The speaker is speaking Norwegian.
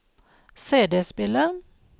CD-spiller